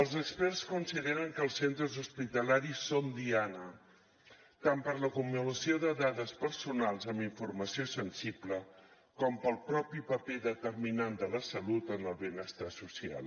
els experts consideren que els centres hospitalaris són diana tant per l’acumulació de dades personals amb informació sensible com pel propi paper determinant de la salut en el benestar social